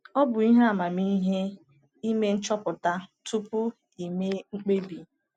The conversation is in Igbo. Ọ bụ ihe amamihe ime nchọpụta tupu i mee mkpebi.